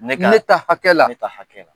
Ne ka, ne ta hakɛ la. Ne ta hakɛ la.